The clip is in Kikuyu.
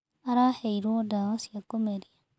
Araheirwo ndawa cia kũmeria.